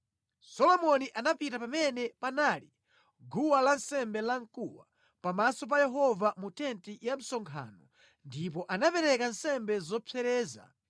Solomoni anapita pamene panali guwa lansembe lamkuwa pamaso pa Yehova mu tenti ya msonkhano ndipo anapereka nsembe zopsereza 1,000.